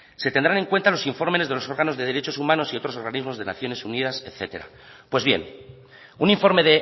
se tendrán en cuenta los informes de los órganos de derechos humanos y otros organismos de naciones unidas etcétera pues bien un informe